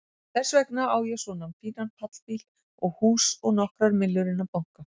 Þess vegna á ég svona fínan pallbíl og hús og nokkrar millur inni á banka.